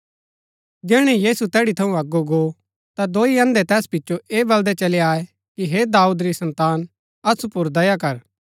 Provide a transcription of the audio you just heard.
जैहणै यीशु तैड़ी थऊँ अगो गो ता दोई अन्धै तैस पिचो ऐह बलदै चली आये कि हे दाऊद री सन्तान असु पुर दया कर